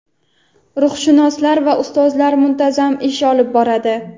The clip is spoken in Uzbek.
ruhshunoslar va ustozlar muntazam ish olib boradi.